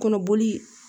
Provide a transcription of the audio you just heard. Kɔnɔboli